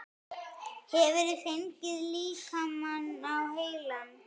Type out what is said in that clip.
Hefurðu fengið líkamann á heilann?